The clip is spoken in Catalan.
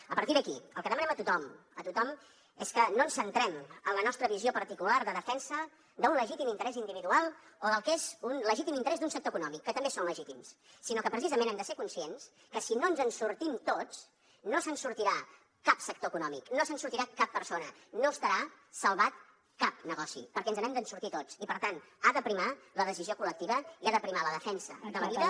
a partir d’aquí el que demanem a tothom és que no ens centrem en la nostra visió particular de defensa d’un legítim interès individual o del que és un legítim interès d’un sector econòmic que també són legítims sinó que precisament hem de ser conscients que si no ens en sortim tots no se’n sortirà cap sector econòmic no se’n sortirà cap persona no estarà salvat cap negoci perquè ens n’hem de sortir tots i per tant ha de primar la decisió col·lectiva i ha de primar la defensa de la vida